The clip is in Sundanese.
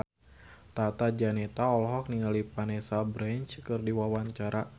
Tata Janeta olohok ningali Vanessa Branch keur diwawancara